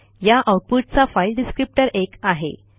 या आऊटपुटचा file descriptor एक आहे